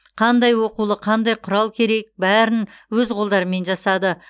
қандай оқулық қандай құрал керек бәрін өз қолдарымен жасады